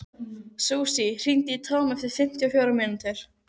Susie, hringdu í Tom eftir fimmtíu og fjórar mínútur.